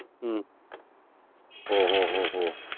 ഉം ഓഹ് ഓഹ് ഓഹ് ഓഹ്